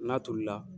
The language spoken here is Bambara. N'a tolila